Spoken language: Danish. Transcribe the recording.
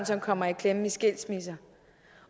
som kommer i klemme i skilsmisser